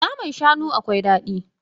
Naman shanun akwai dadi.